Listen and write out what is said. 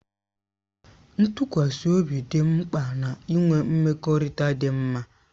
Ntụkwasị obi dị mkpa na-ịnwe mmekọrịta dị mma